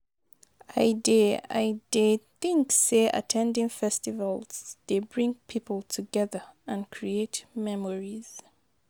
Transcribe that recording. I dey I dey think say at ten ding festivals dey bring people together and create memories.